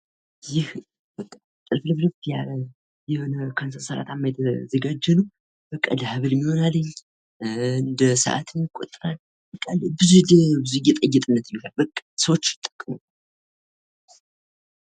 ይህ ጥልፍልፍልፍ ያለ የሆነ ከሰንሰለታማ ነገር የተዘጋጀ ነው ። ለሃብልም ይሆናል። ሰዎች ለማጌጫ የሚጠቀሙት ነው።